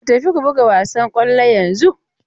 Ku tafi ku buga wasan kwallon yanzun!